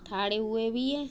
ठाड़े हुए वि ए ।